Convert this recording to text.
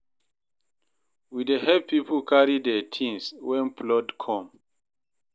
We dey help pipo carry their tins wen flood come